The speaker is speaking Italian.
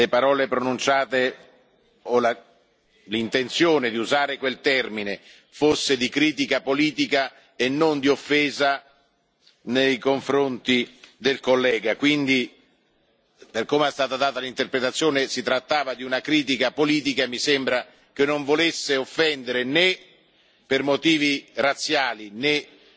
Io credo che alla fine le parole pronunciate o l'intenzione di usare quel termine fosse di critica politica e non di offesa nei confronti del collega, quindi, per come è stata data l'interpretazione, si trattava di una critica politica e mi sembra che non volesse offendere né